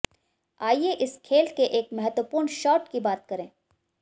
अाइये इस खेल के एक महत्वपूर्ण शाॅट की बात करें